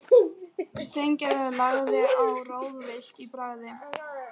Steingerður lagði á, ráðvillt í bragði.